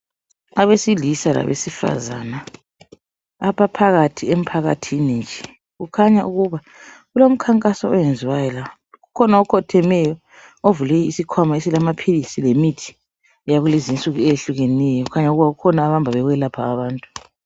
Abesilisa labesifazana abaphakathi emphakathini nje. Kukhanya ukuba kulomkhankaso oyenziwayo la. Kukhona okhothemeyo ,ovule isikhwama esilamaphilisi lemithi yakulezinsuku eyehlukeneyo. Kukhanya kukhona abahamba bekwelapha abantu.